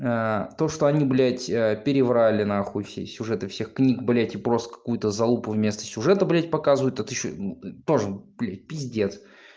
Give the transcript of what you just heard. то что они блядь а переврали нахуй все сюжеты всех книг блядь и просто какую-то залупу вместо сюжета блядь показывают тут ещё тоже блядь пиздец